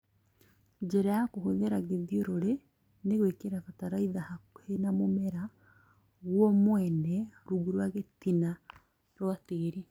Njĩra ya kũhũthĩra gĩthiũrũrĩ. Nĩ gwĩkĩra bataraitha hakuhĩ na mũmera guo mwene rungu rwa gĩtina rwa tĩri